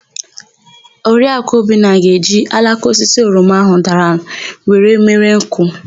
Oriakụ Obinna ga-eji alaka osisi oroma áhụ̀ dara were mere nkụ.